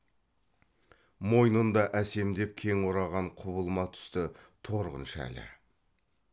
мойнында әсемдеп кең ораған құбылма түсті торғын шәлі